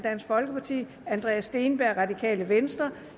andreas steenberg